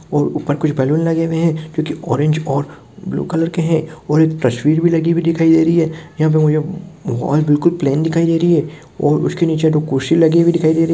और ऊपर कुछ बलून लगे है क्यू की ऑरेंज और ब्लू कलर के है और एक तस्वीर भी लगी हुई दिखाय दे रही है यहाँ पे मुझे हॉल बिलकुल प्लेन दिखाई दे रही हैं और उसके नीचे दो कुर्सी लगी हुई दिखाई दे रही है।